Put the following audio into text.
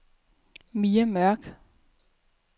Mai Mørk